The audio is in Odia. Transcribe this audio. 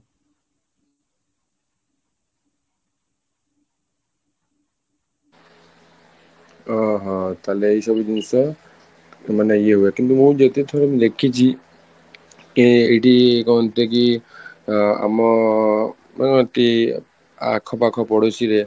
ଅହଃ, ତାହେଲେ ଏଇ ସବୁ ଜିନିଷ ମାନେ ଇଏ ହୁଏ କିନ୍ତୁ ମୁଁ ଯେତେ ଥର ଦେଖିଛି କି ଏଇଠି କୁହନ୍ତି କି ଅଂ ଆମ ମାନେ ଏଠି ଆଖ ପାଖ ପଡୋଶୀରେ